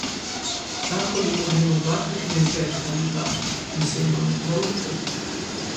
Vsako leto gremo dvakrat na izlet ali dva in se imamo prav lepo.